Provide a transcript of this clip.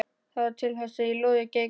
Það varð til þess að lóðið geigaði.